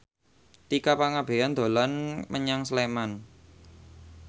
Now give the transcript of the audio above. Tika Pangabean dolan menyang Sleman